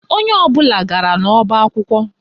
Onye ọbụla gara n'ọba akwụkwọ